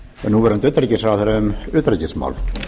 núverandi utanríkisráðherra um utanríkismál